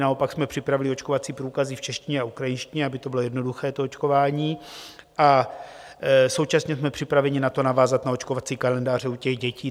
Naopak jsme připravili očkovací průkazy v češtině a ukrajinštině, aby to bylo jednoduché, to očkování, a současně jsme připraveni na to navázat, na očkovací kalendáře u těch dětí.